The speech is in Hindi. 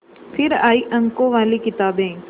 फिर आई अंकों वाली किताबें